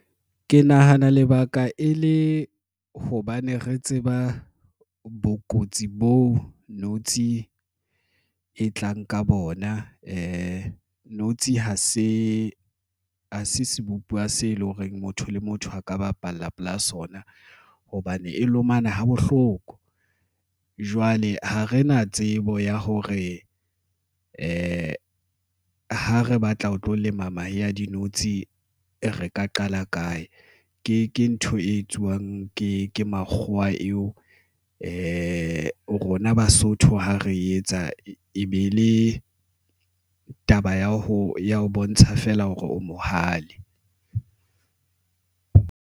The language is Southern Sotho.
Ke nahana lebaka e le hobane re tseba bokotsi bo notshi e tlang ka bona. Notshi ha se sebupuwa se leng hore motho le motho a ka bapalla pela sona hobane e lomana ha bohloko. Jwale ha re na tsebo ya hore ha re batla ho tlo lema mahe a dinotshi re ka qala kae. Ke ntho e etsuwang ke makgowa a eo, ke rona Basotho ha re etsa e be le taba ya ho ya ho bontsha feela hore o mohale.